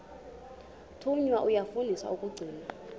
thunywa yafundiswa ukugcina